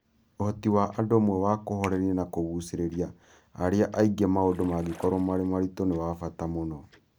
Ũhoti wa andũ amwe wa kũhooreria na kũgucĩrĩria arĩa angĩ maũndũ mangĩkorũo marĩ maritũ, nĩ wa bata mũno.